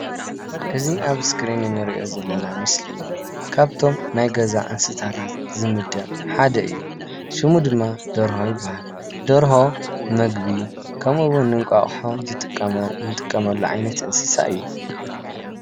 እዚ ኣብ እስክሪን እንሪኦ ዘለና ምስሊ ካብቶም ናይ ገዛ እንስሳታት ዝምደብ ሓደ እየ። ሽሙ ድማ ደርሆ ይብሃል። ደርሆ ንምግቢ ከምኡ እዉን ንእንቋቁሖ ንጥቀመሉ ዓይነት እንስሳ እዩ።